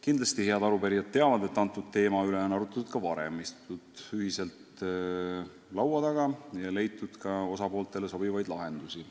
" Kindlasti head arupärijad teavad, et selle teema üle on arutletud ka varem, on istutud ühiselt laua taga ja leitud ka osapooltele sobivaid lahendusi.